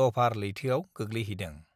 Dover लैथोयाव गोग्लैहदों